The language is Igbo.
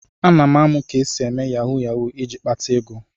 Ana m amụ ka esi eme yahu yahu iji kpata ego.